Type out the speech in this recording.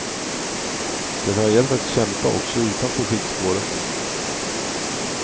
Det har gällt att kämpa också utanför skidspåret.